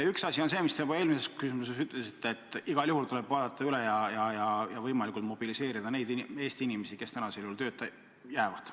Üks asi on see, mis te juba eelmisele küsimusele vastates ütlesite: et igal juhul tuleb arvestada ja võimalikult mobiliseerida neid Eesti inimesi, kes tööta jäävad.